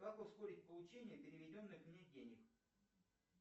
как ускорить получение переведенных мне денег